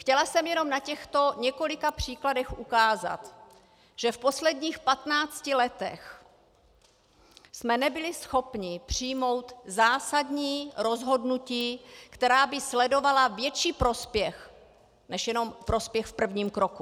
Chtěla jsem jen na těchto několika příkladech ukázat, že v posledních patnácti letech jsme nebyli schopni přijmout zásadní rozhodnutí, která by sledovala větší prospěch než jenom prospěch v prvním kroku.